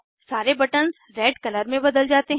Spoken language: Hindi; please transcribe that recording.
सारे बटन्स रेड कलर में बदल जाते हैं